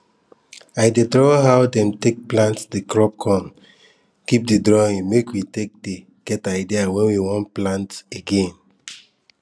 i dey draw how dem take plant di crop con keep di drawing make we take get idea when we want plant again